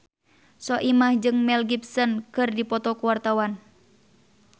Soimah jeung Mel Gibson keur dipoto ku wartawan